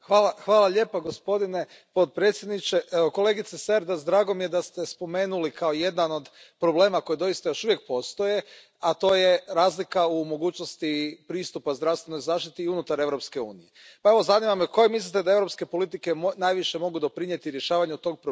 Kolegice Cerdas, drago mi je da ste spomenuli kao jedan od problema koji doista još uvijek postoji, a to je razlika u mogućnosti pristupa zdravstvenoj zaštiti unutar Europske unije, pa, evo, zanima me koje mislite da europske politike najviše mogu doprinijeti rješavanju tog problema, konkretno mislim na kohezijsku politiku.